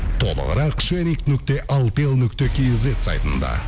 толығырақ нүкте алтел нүкте кизет сайтында